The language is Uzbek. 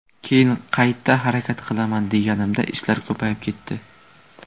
Keyin qayta harakat qilaman deganimda ishlar ko‘payib ketdi.